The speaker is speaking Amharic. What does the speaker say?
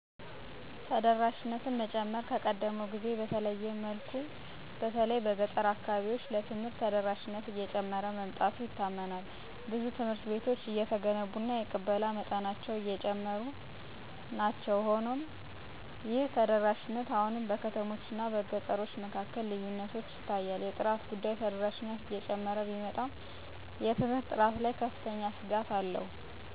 ተደራሽነትን መጨመር ከቀደመው ጊዜ በተለየመልኩ በተለይ በገጠር አካባቢዎች ለትምህርት ተደራሽነት እየጨመረ መምጣቱ ይታመናል ብዙ ትምሀርት ቤቶች እየተገነቡ እና የቅበላ መጠኖች አጨሙሩናቸዉ። ሆኖሞይህተደራሽነት አሁንም በከተሞች አናበገጠሮቸ መካከልልዪነት ይታያል። የጥራት ጉዳይ ተደራሽነት እጨመረ ቢመጣም የትምርት ጥራት ላይ ከፍተኛ ስጋትአለዉ የምህራን